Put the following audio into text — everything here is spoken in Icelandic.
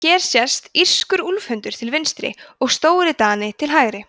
hér sést írskur úlfhundur til vinstri og stórdani til hægri